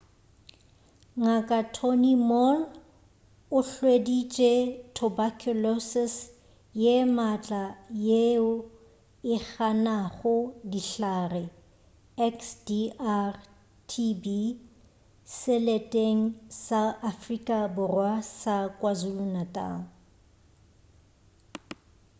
ngk. tony moll o hweditše tuberculosis ye maatla yeo e ganago dihlare xdr-tb seleteng sa afrika borwa sa kwazulu-natal